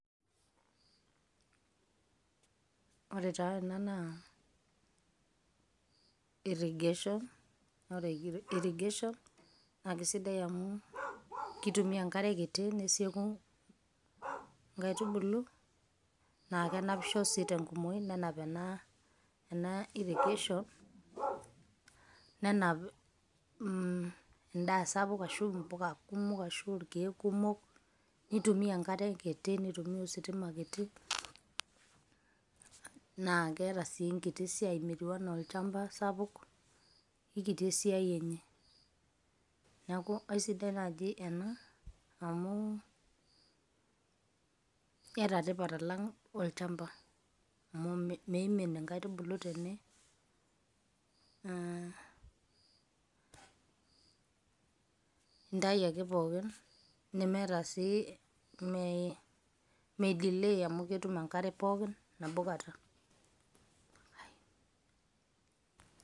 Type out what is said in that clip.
Ore taa ena naa irrigation naa ore irrigation naa kesidai amuu keitumiya inkarevkitii nesieku nkaitubulu naa kenapisho sii te nkumoii nenap enaa irrigation nenap indaa sapuk ashu imbuka kumok ashuu orkeek kumok, neitumiya inkare kiti neitumiya ositima kiti, naa keeta sii nkiti siaai metiuanaa olchamba sapuk, ekiti esiaai enye naaku esidai naaji ena amu keeta etipat alang olchamba amu meimin inkaitubulu tene intayu ake pookin nemeeta sii meidilei amu ketum enkarre pookin nabo kata.